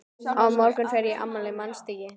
Á morgun fer ég í afmælið, manstu ekki?